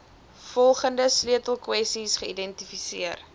volgende sleutelkwessies geïdentifiseer